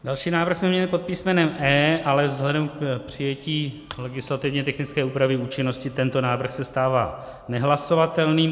Další návrh jsme měli pod písmenem E, ale vzhledem k přijetí legislativně technické úpravy účinnosti tento návrh se stává nehlasovatelným.